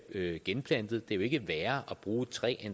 genplantet det er jo ikke værre at bruge et træ